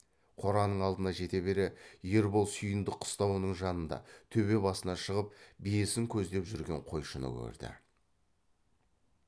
қораның алдына жете бере ербол сүйіндік қыстауының жанында төбе басына шығып биесін көздеп жүрген қойшыны көрді